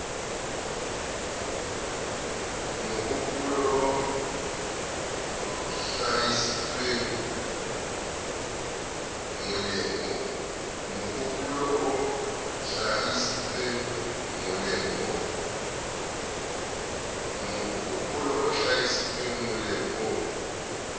mohopolo o hlahisitsweng moleng o